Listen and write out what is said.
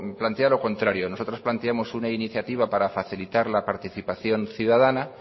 plantea lo contrario nosotros planteamos una iniciativa para facilitar la participación ciudadana